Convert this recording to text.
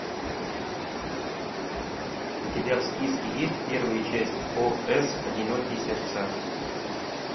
у тебя в списке есть первая часть ос одинокие сердца